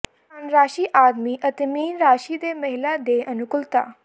ਧਨ ਰਾਸ਼ੀ ਆਦਮੀ ਅਤੇ ਮੀਨ ਰਾਸ਼ੀ ਦੇ ਮਹਿਲਾ ਦੇ ਅਨੁਕੂਲਤਾ